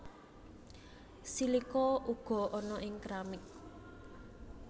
Silika uga ana ing keramik